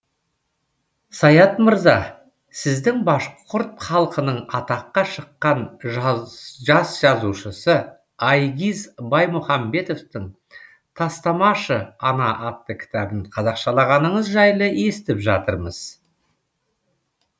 саят мырза сіздің башқұрт халқының атаққа шыққан жас жазушысы айгиз баймұхаметовтың тастамашы ана атты кітабын қазақшалағаныңыз жайлы естіп жатырмыз